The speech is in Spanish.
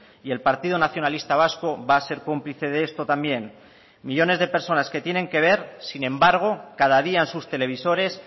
y el partido nacionalista vasco va a ser cómplice de esto también millónes de personas que tienen que ver sin embargo cada día en sus televisores